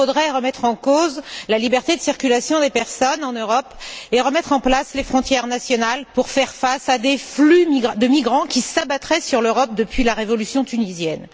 Il faudrait remettre en cause la liberté de circulation des personnes en Europe et remettre en place les frontières nationales pour faire face à des flux de migrants qui s'abattraient sur l'Europe depuis la révolution tunisienne.